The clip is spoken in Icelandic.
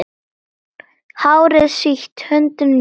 Hárið sítt, höndin mjúk.